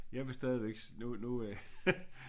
Jeg vil stadigvæk nu nu øh